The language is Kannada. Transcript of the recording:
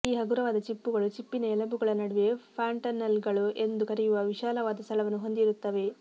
ಈ ಹಗುರವಾದ ಚಿಪ್ಪುಗಳು ಚಿಪ್ಪಿನ ಎಲುಬುಗಳ ನಡುವೆ ಫಾಂಟನೆಲ್ಲೆಗಳು ಎಂದು ಕರೆಯುವ ವಿಶಾಲವಾದ ಸ್ಥಳವನ್ನು ಹೊಂದಿರುತ್ತವೆ